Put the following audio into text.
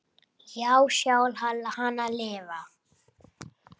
Já, sjá hana lifa.